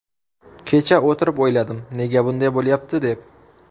Kecha o‘tirib o‘yladim, nega bunday bo‘lyapti, deb.